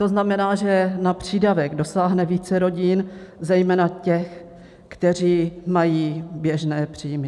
To znamená, že na přídavek dosáhne více rodin, zejména těch, kteří mají běžné příjmy.